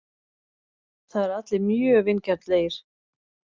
Það eru allir mjög vingjarnlegir.